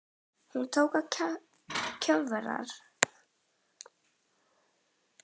Hún tók að kjökra.